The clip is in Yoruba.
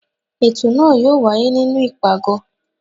ètò náà yóò wáyé nínú ipágọ